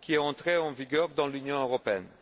qui est entrée en vigueur dans l'Union européenne.